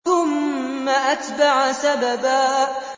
ثُمَّ أَتْبَعَ سَبَبًا